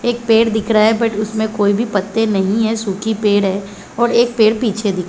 एक पेड़ दिख रहा है बट उसमें एक भी पत्ते नहीं है सुखी पेड़ है और एक पेड़ पीछे दिख --